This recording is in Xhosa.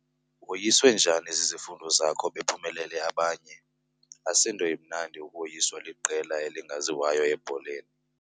Woyiswe njani zizifundo zakho bephumelele abanye? asinto imnandi ukoyiswa liqela elingaziwayo ebholeni